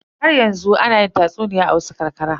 Haryanzu ana yi tatsuniya a wasu ƙarƙara.